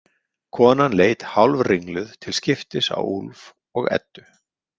Konan leit hálfringluð til skiptis á Úlf og Eddu.